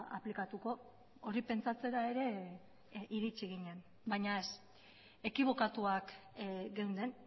aplikatuko hori pentsatzera ere iritsi ginen baina ez ekibokatuak geunden